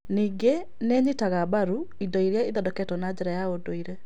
Ningĩ nĩ ĩnyitaga mbaru indo iria ithondeketwo na njĩra ya ndũire.